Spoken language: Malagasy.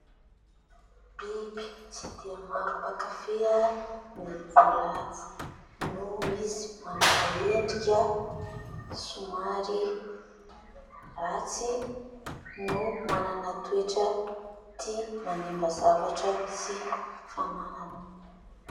Biby tsy dia maro mpakafia ny voalavo noho izy manana endrika somary ratsy no manana toetra tia manimba zavatra sy fananana.